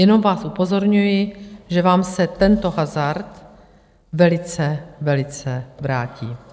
Jenom vás upozorňuji, že vám se tento hazard velice, velice vrátí.